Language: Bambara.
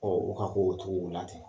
u ka ko o togow laten